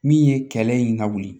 Min ye kɛlɛ in ka wuli